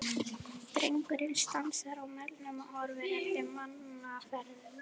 Drengurinn stansar á melnum og horfir eftir mannaferðum.